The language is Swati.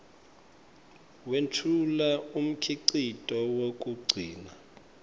wetfula umkhicito wekugcina